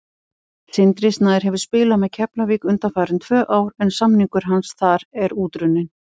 Sindri Snær hefur spilað með Keflavík undanfarin tvö ár en samningur hans þar er útrunninn.